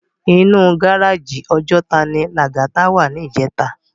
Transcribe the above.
Inú gáráji Òjòtá ni Lagata wá nijètá